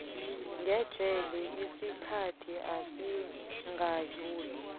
ngejele isikhathi esingadluli